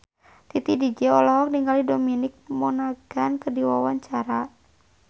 Titi DJ olohok ningali Dominic Monaghan keur diwawancara